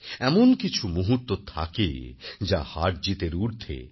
এমনকিছু মুহূর্ত থাকে যা হারজিতের ঊর্ধ্বে